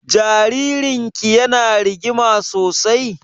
Jaririn ki ya na rigima sosai?